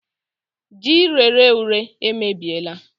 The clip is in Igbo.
Ji rere ure emebiela